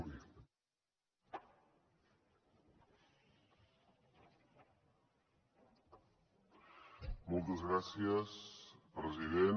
moltes gràcies president